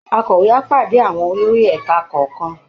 Akọ̀wé á pàdé àwọn olórí ẹ̀ka kọ̀ọ̀kan